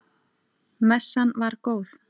Messan var góð.